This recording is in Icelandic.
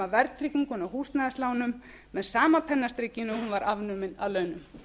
verðtrygginguna af húsnæðislánum með sama pennastrikinu og hún var afnumin af launum